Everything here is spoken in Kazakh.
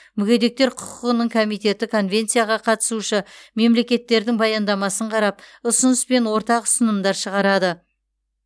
мүгедектер құқығының комитеті конвенцияға қатысушы мемлекеттердің баяндамасын қарап ұсыныс пен ортақ ұсынымдар шығарады